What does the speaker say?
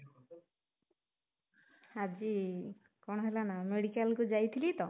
ଆଜି କଣ ହେଲା ନା ମେଡିକାଲକୁ ଯାଇଥିଲି ତ